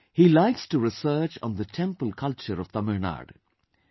He likes to research on the Temple culture of Tamil Nadu